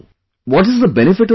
What is the benefit of this